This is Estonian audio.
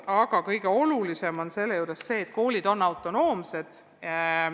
Aga kõige olulisem selle juures on koolide autonoomia.